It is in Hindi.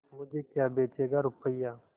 मुझे क्या बेचेगा रुपय्या